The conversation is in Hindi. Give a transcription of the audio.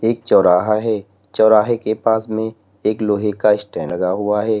एक चौराहा है चौराहे के पास में एक लोहे का स्टैंड लगा हुआ है।